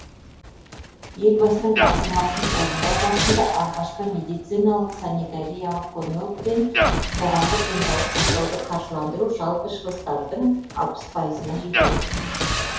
елбасының тапсырмасын орындау барысында алғашқы медициналық санитариялық көмек пен қоғамдық денсаулық сақтауды қаржыландыру жалпы шығыстардың алпыс пайызына жетеді